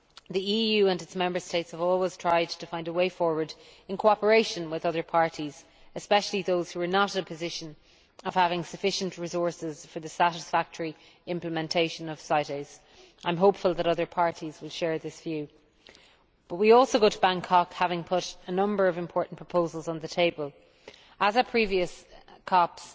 The EU and its Member States have always tried to find a way forward in cooperation with other parties, especially those who are not in the position of having sufficient resources for the satisfactory implementation of CITES. I am hopeful that other parties will share this view. However, we also go to Bangkok having put a number of important proposals on the table. As at previous